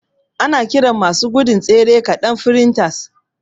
Ana kiran masu gudun tsere ƙaɗan sfrintas